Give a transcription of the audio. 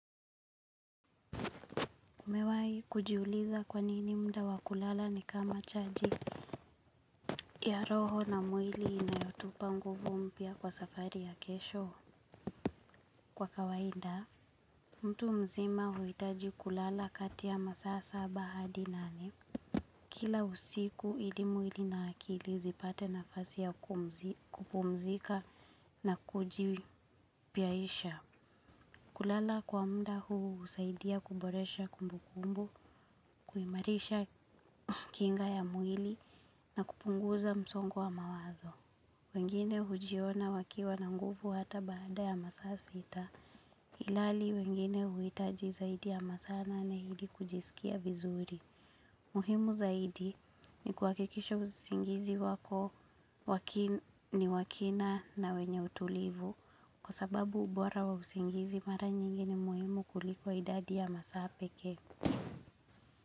Kumewai kujiuliza kwanini muda wa kulala ni kama chaji ya roho na mwili inayotupa nguvu mpya kwa safari ya kesho kwa kawaida. Mtu mzima huitaji kulala kati ya masaa saba hadi nane. Kila usiku ili mwili na akili zipate nafasi ya kupumzika na kujipaisha. Kulala kwa muda huu husaidia kuboresha kumbu kumbu, kuimarisha kinga ya mwili. Na kupunguza msongo wa mawazo. Wengine hujiona wakiwa na nguvu hata baada ya masaa sita. Hilali wengine huhitaji zaidi ya masaa nane ili kujisikia vizuri. Muhimu zaidi ni kwa kuhakikisha usingizi wako ni wakina na wenye utulivu. Sababu ubora wa usingizi ni mara nyingi ni muhimu kuliko idadi ya masaa pekee.